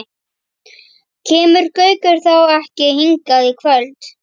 Kemur Gaukur þá ekki hingað í kvöld?